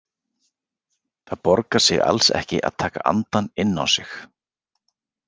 Það borgar sig alls ekki að taka andann inn á sig.